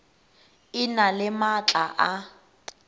e na le maatla a